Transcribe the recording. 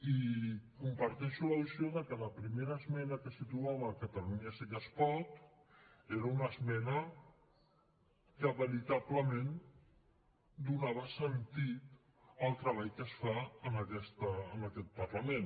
i comparteixo la visió de que la primera esmena que situava catalunya sí que es pot era una esmena que veritablement donava sentit al treball que es fa en aquest parlament